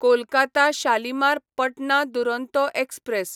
Kolkata Shalimar Patna Duronto express